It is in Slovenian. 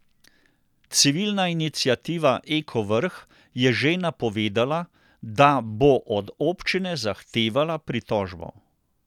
Civilna iniciativa Eko Vrh je že napovedala, da bo od občine zahtevala pritožbo.